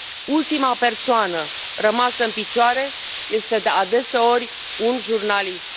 Ultima persoană rămasă în picioare este, adeseori, un jurnalist.